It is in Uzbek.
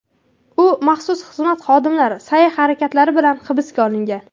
U maxsus xizmat xodimlari sa’y-harakatlari bilan hibsga olingan.